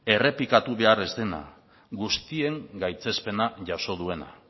errepikatu behar ez dena guztien gaitzespena jaso duena